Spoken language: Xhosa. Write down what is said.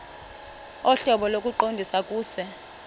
ohlobo lokuqondisa kuse